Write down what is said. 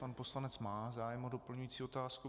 Pan poslanec má zájem o doplňující otázku.